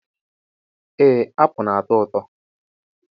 Ee apụl na-ato ụtọ.